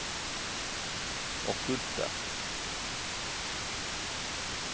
okkulte